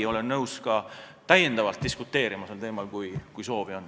Ma olen nõus sel teemal ka täiendavalt diskuteerima, kui soovi on.